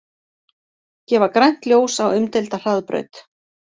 Gefa grænt ljós á umdeilda hraðbraut